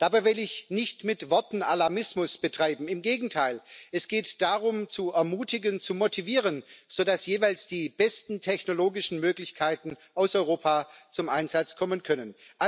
Dabei will ich nicht mit Worten Alarmismus betreiben, im Gegenteil Es geht darum zu ermutigen, zu motivieren, sodass jeweils die besten technologischen Möglichkeiten aus Europa zum Einsatz kommen können.